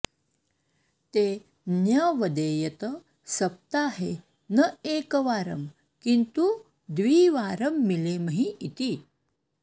ते न्यवेदयत सप्ताहे न एकवारं किन्तु द्विवारं मिलेमहि इति